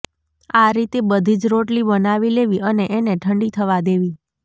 આ રીતે બધી જ રોટલી બનાવી લેવી અને એને ઠંડી થવા દેવી